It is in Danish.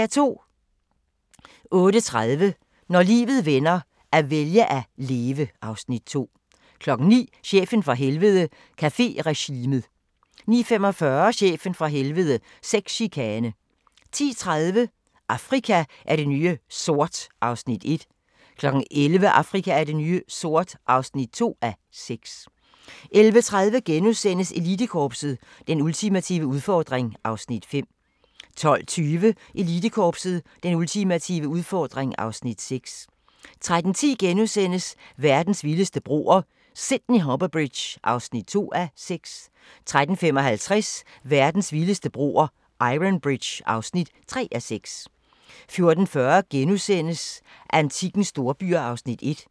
08:30: Når livet vender - at vælge at leve (Afs. 2) 09:00: Chefen fra Helvede – Caféregimet 09:45: Chefen fra Helvede - Sexchikane 10:30: Afrika er det nye sort (1:6) 11:00: Afrika er det nye sort (2:6) 11:30: Elitekorpset – Den ultimative udfordring (Afs. 5)* 12:20: Elitekorpset – Den ultimative udfordring (Afs. 6) 13:10: Verdens vildeste broer – Sydney Harbour Bridge (2:6)* 13:55: Verdens vildeste broer – Iron Bridge (3:6) 14:40: Antikkens storbyer (1:2)*